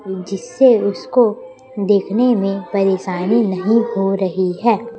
जिससे उसको देखने में परेशानी नहीं हो रही है।